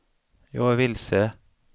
jag är vilse